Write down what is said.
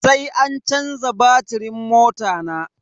Sai an canza batirin mota na.